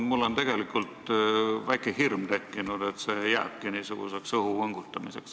Mul on tekkinud väike hirm, et see jääbki niisuguseks õhu võngutamiseks.